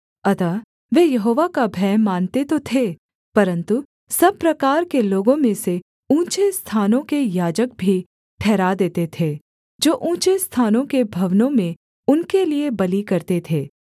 अतः वे यहोवा का भय मानते तो थे परन्तु सब प्रकार के लोगों में से ऊँचे स्थानों के याजक भी ठहरा देते थे जो ऊँचे स्थानों के भवनों में उनके लिये बलि करते थे